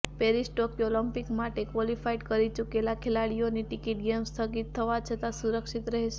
Paris Tokyo Olympic માટે qualify કરી ચુકેલા ખેલાડીઓની ટિકિટ ગેમ્સ સ્થગિત થવા છતાં સુરક્ષિત રહેશે